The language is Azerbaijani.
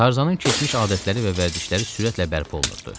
Tarzanın keçmiş adətləri və vərdişləri sürətlə bərpa olunurdu.